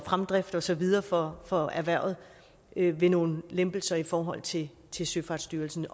fremdrift og så videre for for erhvervet ved nogle lempelser i forhold til til søfartsstyrelsen